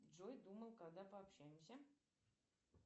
джой думал когда пообщаемся